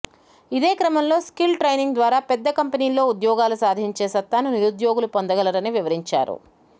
ఇదే క్రమంలో skill training ద్వారా పెద్ద కంపెనీల్లో ఉద్యోగాలు సాధించే సత్తాను నిరుద్యోగులు పొందగలరని వివరించారు